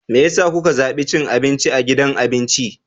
Me yasa kuka zabi cin abinci a gidan abinci?